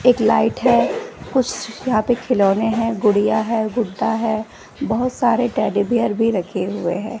एक लाइट है कुस यहां पे खिलौने हैं गुड़िया है गुड्डा है बहोत सारे टेडी बियर भी रखे हुए है।